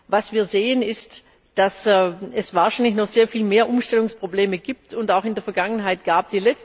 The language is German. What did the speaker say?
Was wir sehen, ist, dass es wahrscheinlich noch sehr viel mehr Umstellungsprobleme gibt und auch in der Vergangenheit gab.